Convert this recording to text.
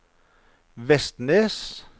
Vestnes